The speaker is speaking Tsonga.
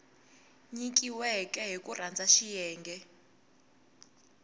nyikiweke hi ku landza xiyenge